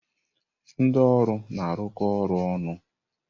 Ndị ọrụ na-arụkọ ọrụ ọnụ.